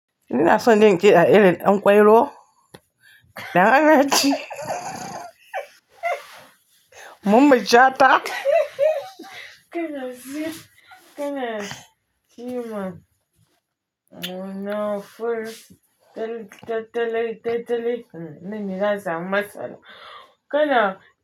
Ina son jin kida irin ɗanƙwairo. Da Anaci. Mamman Shata kana yi, kana kima muna full ta-ta-tatali, tatali. Mm, mene za a masa? Kana.